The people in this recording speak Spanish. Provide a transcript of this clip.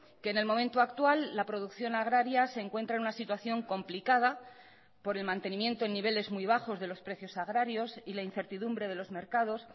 que en el momento actual la producción agraria se encuentra en una situación complicada por el mantenimiento en niveles muy bajos de los precios agrarios y la incertidumbre de los mercados